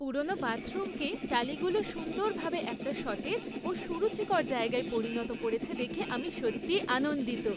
পুরনো বাথরুমকে টালিগুলো সুন্দরভাবে একটা সতেজ ও সুরুচিকর জায়গায় পরিণত করেছে দেখে আমি সত্যিই আনন্দিত!